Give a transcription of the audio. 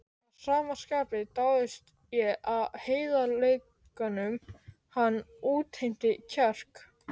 Að sama skapi dáðist ég að heiðarleikanum, hann útheimti kjark.